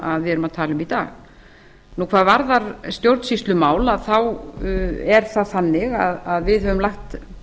að tala um í dag hvað varðar stjórnsýslumál þá er það þannig að við höfum lagt